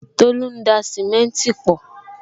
Tolu ń da simenti pọ